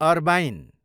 अर्बाइन